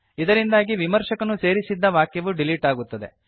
ಇದರಿಂದಾಗಿ ವಿಮರ್ಶಕನು ಸೇರಿಸಿದ್ದ ವಾಕ್ಯವು ಡಿಲೀಟ್ ಆಗುತ್ತದೆ